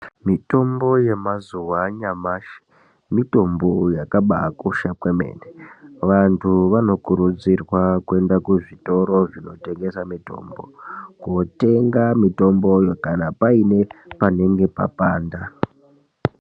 Mitombo yemazuwa anyamashi mitombo yakabakosha kwemene vandu vanokurudzirwa kuenda kuzvitoro zvinotengesa mitombo kotenga mitomboyo kana paine panenge papanda.